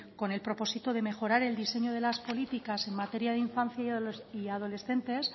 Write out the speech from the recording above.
con el propósito de mejorar el diseño de las políticas en materia de infancia y adolescentes